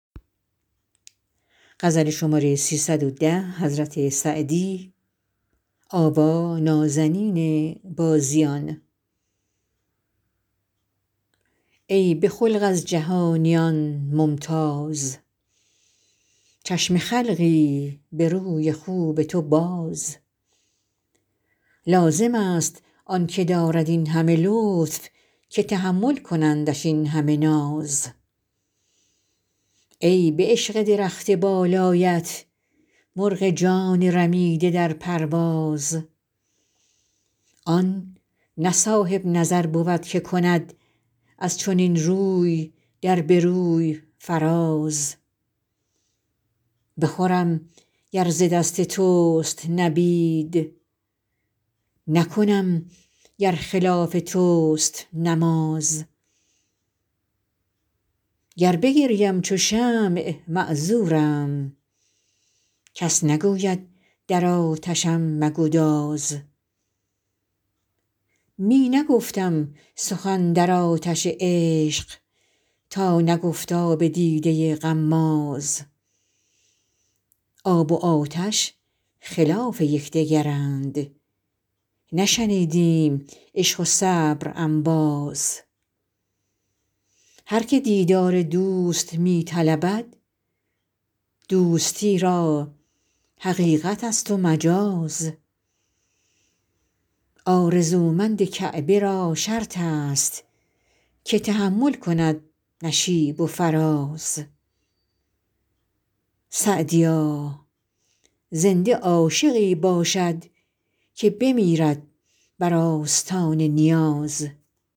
ای به خلق از جهانیان ممتاز چشم خلقی به روی خوب تو باز لازم است آن که دارد این همه لطف که تحمل کنندش این همه ناز ای به عشق درخت بالایت مرغ جان رمیده در پرواز آن نه صاحب نظر بود که کند از چنین روی در به روی فراز بخورم گر ز دست توست نبید نکنم گر خلاف توست نماز گر بگریم چو شمع معذورم کس نگوید در آتشم مگداز می نگفتم سخن در آتش عشق تا نگفت آب دیده غماز آب و آتش خلاف یک دگرند نشنیدیم عشق و صبر انباز هر که دیدار دوست می طلبد دوستی را حقیقت است و مجاز آرزومند کعبه را شرط است که تحمل کند نشیب و فراز سعدیا زنده عاشقی باشد که بمیرد بر آستان نیاز